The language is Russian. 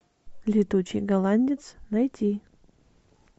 летучий голландец найти